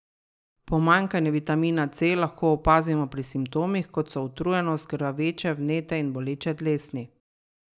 Pomanjkanje vitamina C lahko opazimo po simptomih, kot so utrujenost, krvaveče, vnete in boleče dlesni.